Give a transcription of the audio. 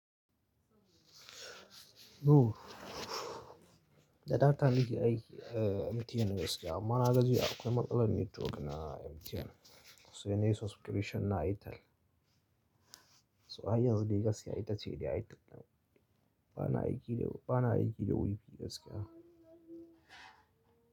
No, da dama ta ni ke aiki, eh, MTN gaskiya. Amma na ga jiya akwai matsalar network na MTN, sai nayi subscription na Airtel. So har yanzu dai gaskiya ita ce dai airtel nan. Ba na aiki da, ba na aiki da WiFi gaskiya.